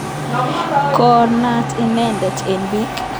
Ko naat inendet eng' piik